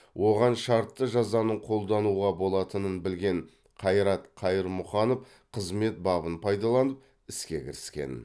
оған шартты жазаның қолдануға болатынын білген қайрат қайырмұханов қызмет бабын пайдаланып іске кіріскен